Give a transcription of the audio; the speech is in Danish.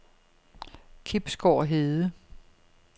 Kibsgård Hede